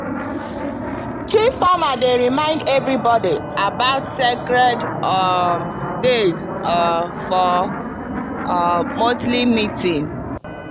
chief farmer dey remind everybody about sacred um days um for um monthly meeting.